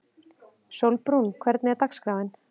Sólbrún, hvernig er dagskráin?